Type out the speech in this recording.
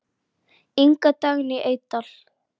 Inga Dagný Eydal.